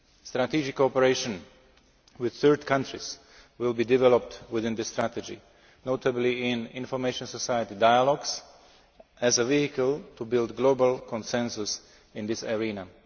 Strategic cooperation with third countries will be developed within the strategy, notably in information society dialogues, as a vehicle to build global consensus in this area.